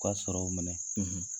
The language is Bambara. U ka sɔrɔw minɛ,